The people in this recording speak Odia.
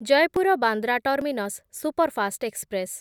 Jaipur Bandra terminus superfast express